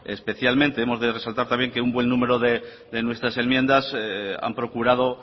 especialmente hemos de resaltar también que un buen numero de nuestras enmiendas han procurado